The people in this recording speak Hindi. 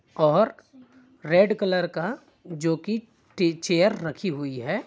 और रेड जो की टी चेयर रखी हुई है।